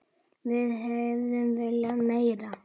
Við hefðum viljað meira.